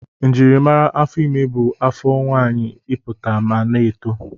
Njimara afọ ime bụ afọ nwaanyị ịpụta ma na-eto.